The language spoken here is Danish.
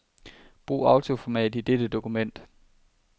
Brug autoformat i dette dokument.